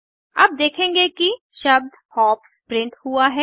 अब देखेंगे कि शब्द हॉप्स प्रिंट हुआ है